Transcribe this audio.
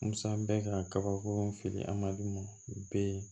Musa bɛ ka kabako fili an ma d'u ma u bɛ yen